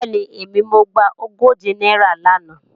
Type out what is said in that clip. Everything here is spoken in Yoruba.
Bẹ́ẹ̀ni, èmi mo gba ogóje náírà làná